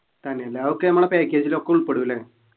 തന്നെല്ലേ അതൊക്കെ നമ്മളെ package ൽ ഒക്കെ ഉൾപ്പെടുല്ലേ